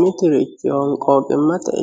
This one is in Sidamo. Mituri honqoqimate